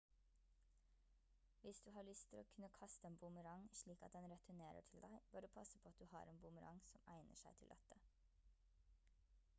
hvis du har lyst til å kunne kaste en boomerang slik at den returnerer til deg bør du passe på at du har en boomerang som egner seg til dette